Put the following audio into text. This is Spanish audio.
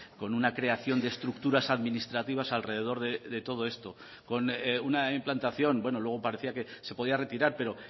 con una creación de estructuras administrativas alrededor de todo esto con una implantación bueno luego parecía que se podía retirar pero